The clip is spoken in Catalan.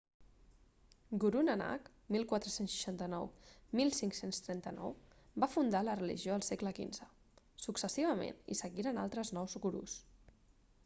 guru nanak 14691539 va fundar la religió al segle xv. successivament hi seguiren altres nou gurus